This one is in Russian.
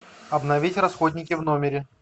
обновить расходники в номере